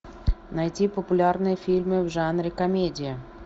найти популярные фильмы в жанре комедия